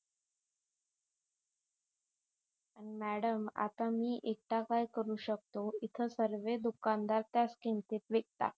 madam आता मी एकटा काय करू शकतो इथे सर्वे दुकानदार त्याच किमतीत विकतात